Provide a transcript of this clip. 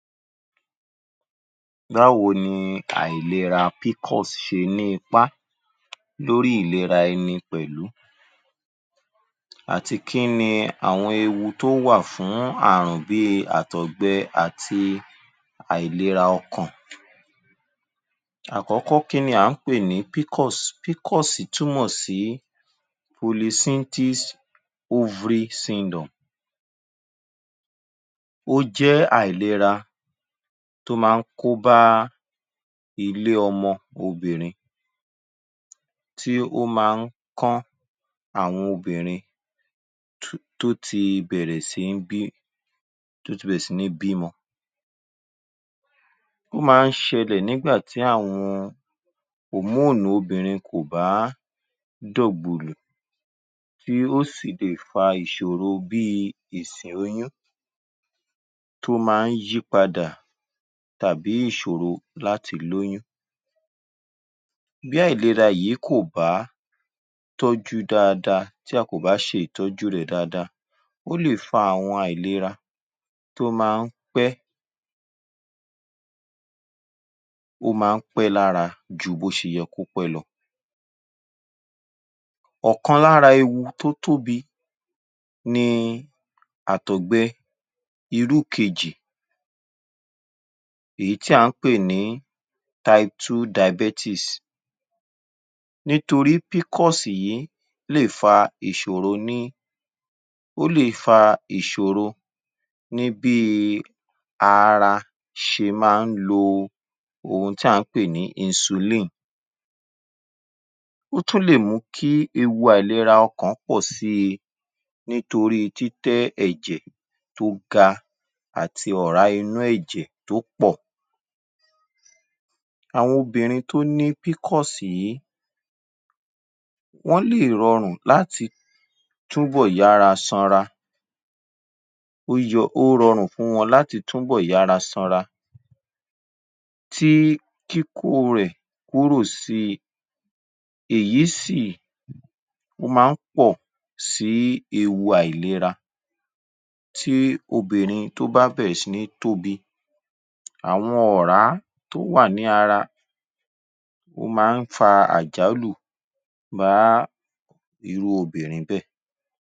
Báwo ni àìlera PCOS ṣe ní ipá lórí ìlera ẹni pẹ̀lú àti kí ni àwọn ewu tó wà fún àrùn bí i àtọ̀gbẹ àti àìlera ọkàn. Àkọ́kọ́ kí ni à ń pè ní PCOS? PCOS túmọ̀ sí Polycystic ovary syndrome. Ó jẹ́ àìlera tó máa ń kọ́bá ilé-ọmọ obìnrin, tí ó máa ń kán àwọn obìnrin tó ti bẹ̀rẹ̀ sí ní bímọ. Ó máa ń ṣẹlẹ̀ nígbà tí àwọn òmóònì Hormones obìnrin kò bá dọ̀gbùlù tí ó sì lè fa ìṣòro bí i ìsè oyún, tó máa ń yí padà tàbí Ìṣòro láti lóyún. Bí àìlera yìí kò bá tọ́jú dáadáa tí a kò bá ṣe ìtọ́jú rẹ̀ dáadáa ó lè fa àwọn àìlera tó máa ń pẹ́, ó máa ń pẹ́ lára ju bí ó ṣe yẹ kó pẹ́ lọ. Ọ̀kan lára ewu tí ó tóbi ni àtọ̀gbẹ irú kejì, èyí tí à ń pè ní type two diabetes nítorí PCOS yìí ó lè fa ìṣòro ní, ó lè fa ìṣòro ní bí i ara ṣe máa ń lo ohun tí à ń pè ní Insulin, ó tún lè mú kí ewu àìlera ọkàn pọ̀ sí i nítorí títẹ́ ẹ̀jẹ̀ tó ga àti ọ̀rá inú ẹ̀jẹ̀ tó pọ̀. Àwọn obìnrin tó ní PCOS yìí, wọ́n lè rọrùn láti túbọ̀ yára sanra, ó rọrùn fún wọn láti túbọ̀ yára sanra tí kíkó rẹ̀ kúrò sí i èyí sì, ó máa ń pọ̀ sí ewu nípa ìlera tí obìnrin tó bá bẹ̀rẹ̀ sí ní tóbi àwọn ọ̀rá tó wà ní ara ó máa ń fa àjálù pàápàá irú obìnrin bẹ́ẹ̀.